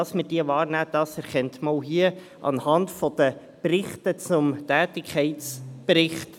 Dass wir diese wahrnehmen, erkennt man auch anhand der Berichte zum Tätigkeitsbericht.